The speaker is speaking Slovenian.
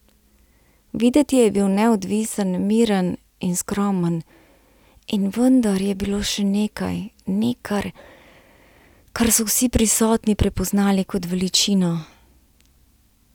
Videti je bil neodvisen, miren in skromen, in vendar je bilo še nekaj, nekaj, kar so vsi prisotni prepoznali kot veličino.